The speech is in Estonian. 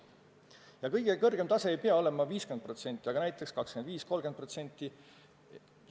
Ja kõige kõrgem maksumäär ei pea olema 50%, vaid näiteks 25–30%.